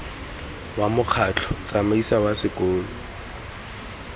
wa mokgatlho tsamaiso wa sekolo